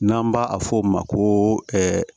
N'an b'a fɔ o ma ko